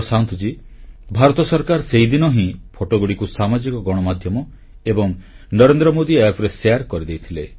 ପ୍ରଶାନ୍ତ ଜୀ ଭାରତ ସରକାର ସେହିଦିନ ହିଁ ଫଟୋଗୁଡ଼ିକୁ ସାମାଜିକ ଗଣମାଧ୍ୟମ ଏବଂ ନରେନ୍ଦ୍ର ମୋଦି App ରେ ପ୍ରସାର କରିଦେଇଥିଲେ